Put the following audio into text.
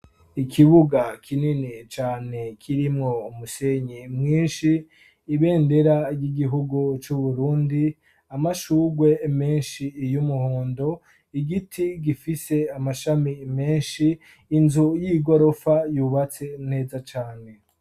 Ikibuga kinini cyane kirimwo umusenyi mwinshi ibendera ry'igihugu cy'uburundi amashugwe menshi iy umuhondo igiti gifise amashami menshi inzu y'igorofa yubatse neza cyane.